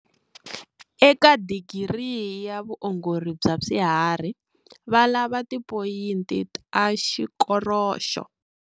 Eka Digiri ya Vuongori bya Swiharhi, va lava Tipoyinti ta Xikoroxo.